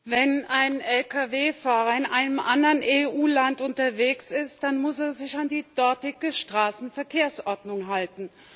Herr Präsident! Wenn ein Lkw Fahrer in einem anderen EU Land unterwegs ist, dann muss er sich an die dortige Straßenverkehrsordnung halten.